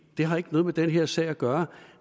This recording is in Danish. har ikke noget med den her sag at gøre